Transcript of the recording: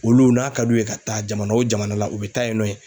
Olu n'a ka d'u ye ka taa jamana o jamana la u bɛ taa yen nɔ ye.